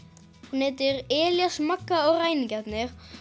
hún heitir Elías Magga og ræningjarnir